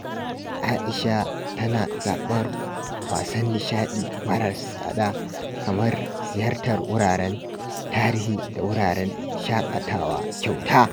Aisha tana zaɓar wasan nishaɗi maras tsada kamar ziyartar wuraren tarihi da wuraren shakatawa kyauta.